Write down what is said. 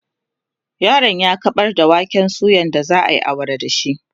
yaron ya kaɓar da waken suyan da zaayi awara da shi